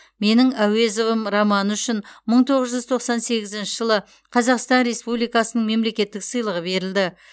менің әуезовім романы үшін мың тоғыз жүз тоқсан сегізінші жылы қазақстан республикасының мемлекеттік сыйлығы берілді